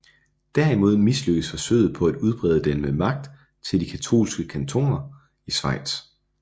Derimod mislykkedes forsøget på at udbrede den med magt til de katolske kantoner i Schweiz